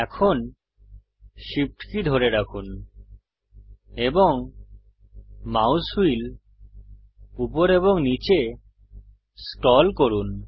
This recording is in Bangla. এখন SHIFT কী ধরে রাখুন এবং মাউস হুইল উপর এবং নীচে স্ক্রল করুন